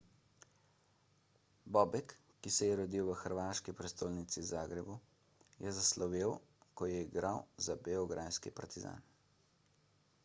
bobek ki se je rodil v hrvaški prestolnici zagrebu je zaslovel ko je igral za beograjski partizan